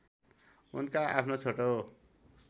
उनका आफ्नो छोटो